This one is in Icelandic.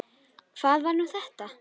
Hvað var nú þetta?